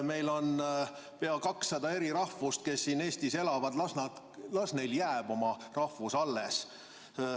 Meil on pea 200 eri rahvust, kes siin Eestis elavad, las neile jääb oma rahvus alles.